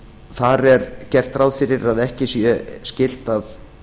þar er gert ráð fyrir að ekki sé skylt að